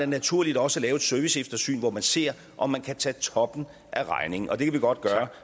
naturligt også at lave et serviceeftersyn hvor man ser om man kan tage toppen af regningen og det kan vi godt gøre